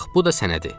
Bax bu da sənədi.